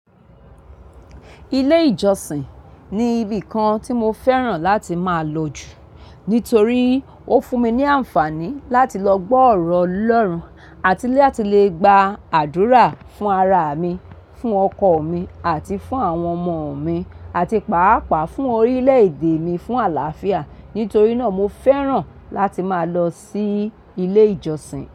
Ilé ìjọsìn ni ibìkan tí mo fẹ́ràn láti máa lòjù nítorí ó fún mi ní àǹfààní láti lọ gbọ́ ọ̀rọ̀ Ọlọ́run àti láti lè gba àdúrà fún ara mi, fún ọkọ̀ mi àti fún àwọn ọmọ mi àti pàápàá fún orílẹ̀ èdè mi fún àlàáfíà. Nítorí náà, mo fẹ́ràn láti máa lọ sí ilé ìjọsìn.